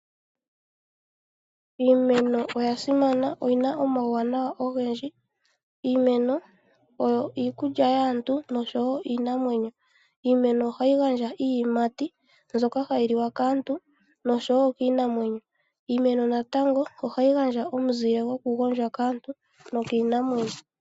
Iimeno oya simana, oyina omawunawa ogendji . Iimeno oyo iikulya yaantu noshowo iinamwenyo. Iimeno ohayi gandja iiyimati mbyoka hayi liwa kaantu noshowo kiinamwenyo. Iimeno natango ohayi gandja omuzile goku gwondja kaantu no kiinamwenyo.